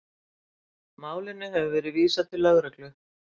Málinu hefur verið vísað til lögreglu